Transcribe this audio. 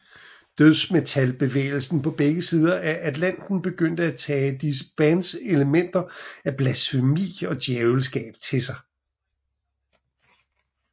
Dødsmetalbevægelsen på begge sider af Atlanten begyndte at tage disse bands elementer af blasfemi og djævelskab til sig